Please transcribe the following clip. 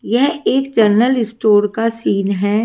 यह एक general store का सीन है।